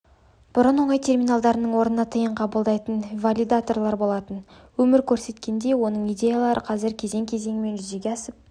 бұрын оңай терминалдарының орнында тиын қабылдайтын валидаторлар болатын өмір көрсеткендей оның идеялары қазір кезең-кезеңімен жүзеге асып